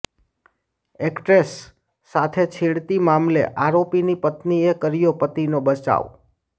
actress સાથે છેડતી મામલે આરોપીની પત્નીએ કર્યો પતિનો બચાવ